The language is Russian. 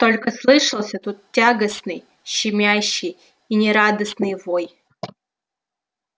только слышался тот тягостный щемящий и нерадостный вой